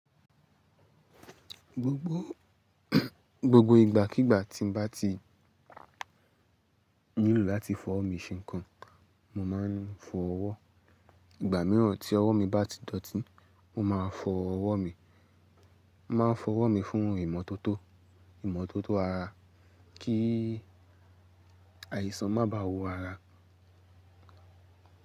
Gbogbo gbogbo ìgbàkígbà tí n bá ti nílò láti fi ow mi ṣe ǹkan, mo máa ń fọ ọwọ́. Ìgbà mìíràn tí ọwọ́ mi bá ti dọ̀tí, mo máa fọ ọwọ́ mi. Mo máa n fọ ọwọ́ mi fún ìmọ́tótó, ìmọ́tótó ara kí àìsàn má baà wò ara.